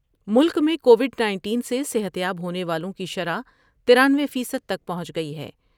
ملک میں covid انیس سے صحت یاب ہونے والوں کی شرح ترانوے فیصد تک پہنچ گئی ہے ۔